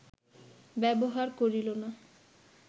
ব্যবহার করিল না